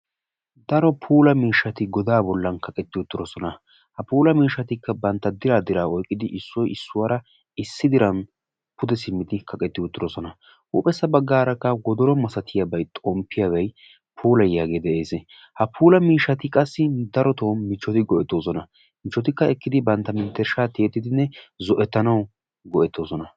Daro puulaa miishshati gooda bollan kaqqeti uttidosona. Ha puulaa miishshattika bantta dira dira oyqqidi issoy issuwara issi diran puude simmidi kaqqeti uttidosona. Huuphpphessa baggaraka woodoro maasatiyabay xomppiyabay puulayiyagee de'ees. Ha puula miishshati qassi daroto michchoti goetosona. Michchotika ekkidi bantta menttershsha tiyettidine zoetanawu goetosona.